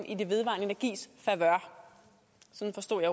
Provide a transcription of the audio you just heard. i den vedvarende energis favør sådan forstod